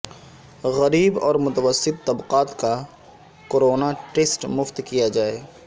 غریب اور متوسط طبقات کا کورونا ٹسٹ مفت کیا جائے